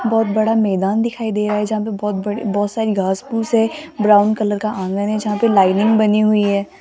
बहुत बड़ा मैदान दिखाई दे रहा है जहां पे बहुत बड़ी बहुत सारी घास-फूस है ब्राउन कलर का आंगन है जहां पे लाइनिंग बनी हुई है।